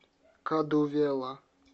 кадувела